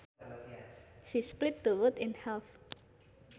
She split the wood in half